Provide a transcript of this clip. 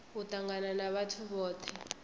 u tangana na vhathu vhothe